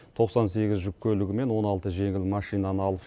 тоқсан сегіз жүк көлігі мен он алты жеңіл машинаны алып